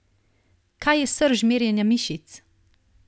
Kaj je srž merjenja mišic?